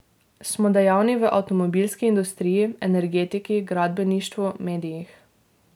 Smo dejavni v avtomobilski industriji, energetiki, gradbeništvu, medijih ...